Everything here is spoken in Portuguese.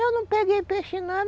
Eu não peguei peixe, não.